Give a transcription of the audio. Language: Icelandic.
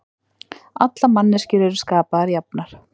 Allar manneskjur eru skapaðar jafnar